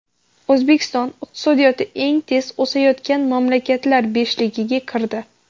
O‘zbekiston iqtisodiyoti eng tez o‘sayotgan mamlakatlar beshligiga kirdi.